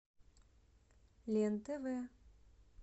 лен тв